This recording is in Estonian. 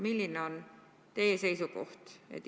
Milline on teie seisukoht?